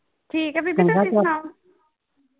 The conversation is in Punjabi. ਠੀਕ ਆ ਬੀਬੀ ਤੁਸੀ ਸੁਆਉ